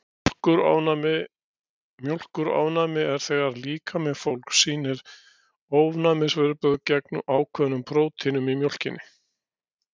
Mjólkurofnæmi Mjólkurofnæmi er þegar líkami fólks sýnir ofnæmisviðbrögð gegn ákveðnum prótínum í mjólkinni.